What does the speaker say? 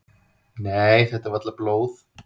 """Nei, þetta er varla blóð."""